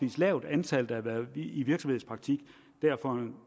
lavt antal der har været i virksomhedspraktik for en